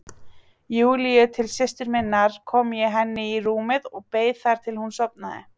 Júlíu til systur minnar kom ég henni í rúmið og beið þar til hún sofnaði.